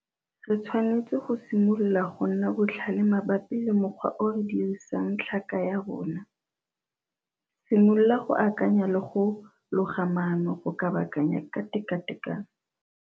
Re tshwanetse go simolola go nna botlhale mabapi le mokgwa o re dirisang tlhaka ya rona. Simolola go akanya le go loga maano go kabakanya ka tekatekano.